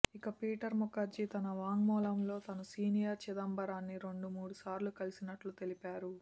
ఇక పీటర్ ముఖర్జీ తమ వాంగ్మూలంలో తాను సీనియర్ చిదంబరాన్ని రెండు మూడుసార్లు కలిసినట్లు తెలిపారు